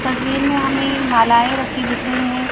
तस्वीर में हमें मालाएं रखी दिख रही हैं।